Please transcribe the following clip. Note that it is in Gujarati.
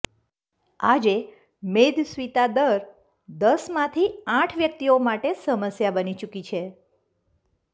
આજે મેદસ્વિતા દર દસમાંથી આઠ વ્યક્તિઓ માટે સમસ્યા બની ચૂકી છે